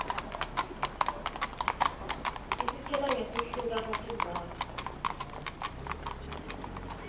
isitjela ngekuhluka kwetindzawo